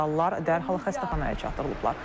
Yaralılar dərhal xəstəxanaya çatdırılıblar.